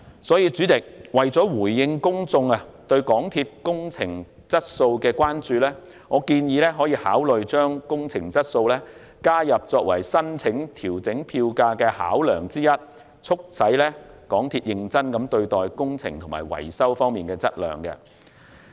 所以，主席，為了回應公眾對港鐵公司工程質素的關注，我建議考慮將工程質素加入為申請調整票價的考量，促使港鐵公司認真對待工程及維修方面的質量問題。